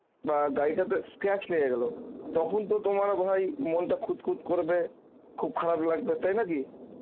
বা গাড়িটা তে scratch লাগে গেলো তখন তো তোমার ভাই মনটা খুঁতখুঁত করবে খুব খারাপ লাগবে তাই না কি